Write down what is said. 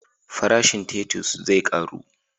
Farashin tatus zai karu?